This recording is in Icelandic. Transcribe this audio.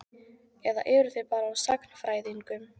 Eða eru þeir bara á sagnfræðingum?